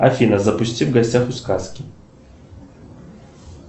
афина запусти в гостях у сказки